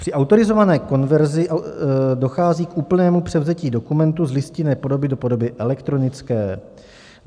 Při autorizované konverzi dochází k úplnému převzetí dokumentu z listinné podoby do podoby elektronické.